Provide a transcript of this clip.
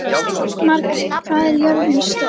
Margrjet, hvað er jörðin stór?